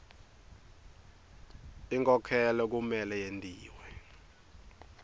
inkhokhelo kumele yentiwe